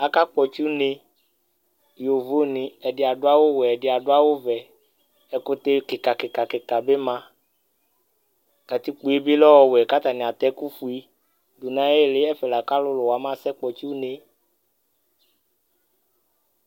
aka kpɔtsi une, yovo ni ɛdi adu awu wɛ ɛdi adu awu vɛ, ɛkutɛ kika kika bi ma, katikpoe bi lɛ ɔwɛ ku ata ni ata eku fue du nu ayili ɛfɛ la ku alulu wa ma sɛ kpɔtsi une